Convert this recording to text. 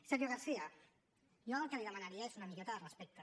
senyor garcía jo el que li demanaria és una miqueta de respecte